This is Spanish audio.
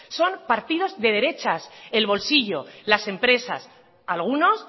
son partidos de derechas el bolsillo las empresas algunos